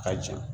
Ka jeli